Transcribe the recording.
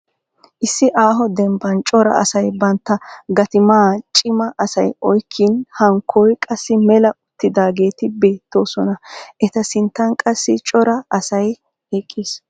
Issi aaho dembban cora asay bantta gattimaa cima asay oyikkin hankkoy qassi mela uttidaageeti beettoosona. Eta sinttan qassi cora asay eqqis.